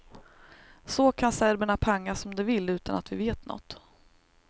Så kan serberna panga som de vill utan att vi vet något.